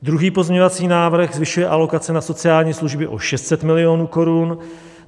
Druhý pozměňovací návrh zvyšuje alokace na sociální služby o 600 milionů korun.